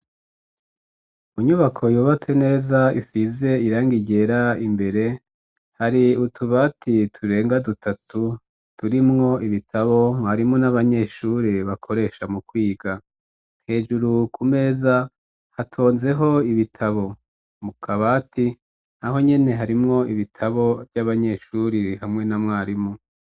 Inyubako yubatse neza ifise irangi ryera, imbere hari utubati turenga dutatu turimwo ibitabo mwarimu n'abanyeshuri bakoresha mu kwiga. Hejuru ku meza hatonzeko ibitabo, mu kabati naho nyene harimwo ibitabo vy'abanyeshuri hamwe na mwarimu.